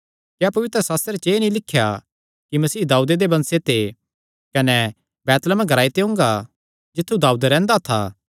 क्या पवित्रशास्त्रे च एह़ नीं लिख्या कि मसीह दाऊदे दे वंशे ते कने बैतलहम ग्रांऐ ते ओंगा जित्थु दाऊद रैंह्दा था